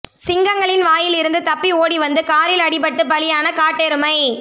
சிங்கங்களின் வாயில் இருந்து தப்பி ஓடிவந்து காரில் அடிபட்டு பலியான காட்டெருமை